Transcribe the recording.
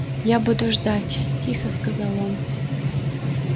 я буду ждать тихо сказал он